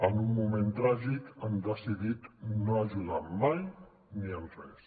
en un moment tràgic han decidit no ajudar mai ni en res